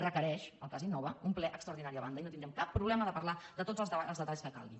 requereix el cas innova un ple extraordinari a banda i no tindrem cap problema de parlar de tots els detalls que calgui